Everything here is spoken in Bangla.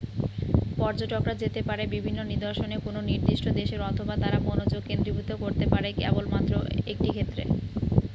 পর্যটকরা যেতে পারে বিভিন্ন নিদর্শনে কোন নির্দিষ্ট দেশের অথবা তারা মনোযোগ কেন্দ্রীভূত করতে পারে কেবলমাত্র 1টি ক্ষেত্রে